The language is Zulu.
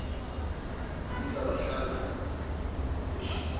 mlisa bahlangana eshibhini